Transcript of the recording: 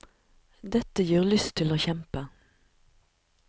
Dette gir lyst til å kjempe.